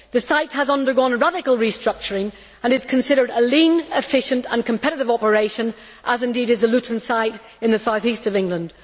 The site has undergone radical restructuring and is considered a lean, efficient and competitive operation, as indeed is the Luton site in the south east of England.